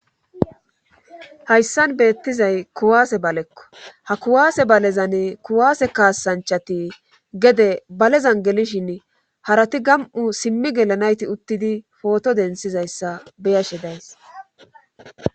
Hayssan beettizay kuwaase balekko ha kuwaase balezan kuwaase kaasanchati gede balezan gelishin harati gam'u simmi gelanayti uttidi pooto densizayssa beyashe days